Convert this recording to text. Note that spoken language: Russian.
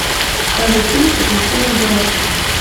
покажи фильм приключения буратино